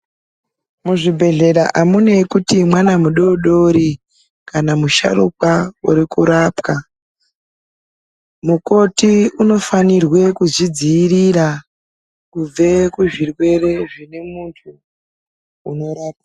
Muzvibhedhlera amuneyi kuti mwana mudodori, kana musharukwa uri kurapwa, mukoti unofanirwe kuzvidziyirira kubve kuzvirwere zvine muntu unorapwa.